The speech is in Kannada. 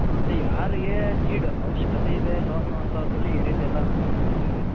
ಅದೇ ಯಾರಿಗೆ need ಅವಶ್ಯಕತೆ ಇದೆ loan ಅಂತವರ್ಗೆ ಈ ರೀತಿ ಎಲ್ಲ